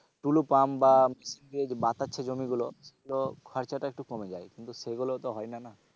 tulu pump বা যে বাচাচ্ছে জমিগুলো সেগুলো খরচাটা একটু কমে যায়, কিন্তু সেগুলো তো হয়না না।